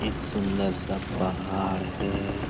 एक सुन्दर सा पहाड़ है।